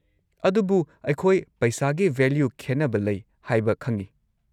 ꯑꯗꯨꯕꯨ, ꯑꯩꯈꯣꯏ ꯄꯩꯁꯥꯒꯤ ꯚꯦꯂ꯭ꯌꯨ ꯈꯦꯟꯅꯕ ꯂꯩ ꯍꯥꯏꯕ ꯈꯪꯉꯤ꯫